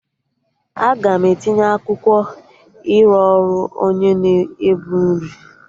Aga m etinye akwụkwọ ịrụ ọrụ onye na-ebu nri